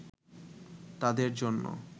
তাদের জন্য